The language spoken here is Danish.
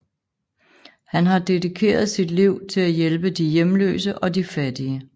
Han har dedikeret sit liv til at hjælpe de hjemløse og de fattige